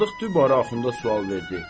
Sadıq dübarə Axunda sual verdi: